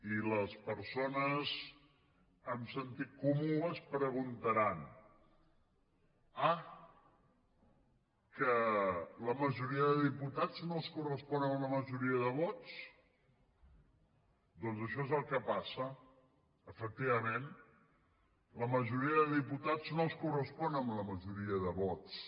i les persones amb sentit comú es deuen preguntar ah que la majoria de diputats no es correspon amb la majoria de vots doncs això és el que passa efectivament la majoria de diputats no es correspon amb la majoria de vots